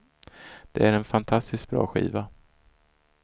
Det är en fantastiskt bra skiva.